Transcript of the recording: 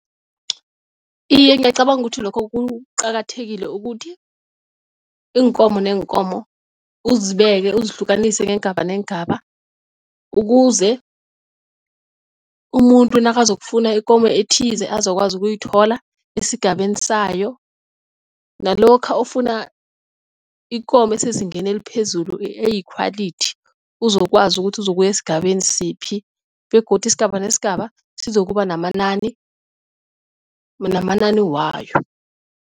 Iye, ngiyacabanga ukuthi lokho kuqakathekile ukuthi iinkomo neenkomo uzibeke uzihlukanise ngeengaba neengaba ukuze umuntu nakazokufuna ikomo ethize azokwazi ukuyithola esigabeni sayo nalokha ofuna ikomo esezingeni eliphezulu eyi-quality uzokwazi ukuthi uzokuya esigabeni siphi begodu isigaba nesigaba sizokuba namanani namanani wayo.